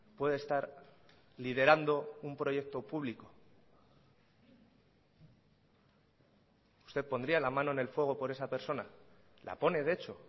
puede estar liderando un proyecto público usted pondría la mano en el fuego por esa persona la pone de hecho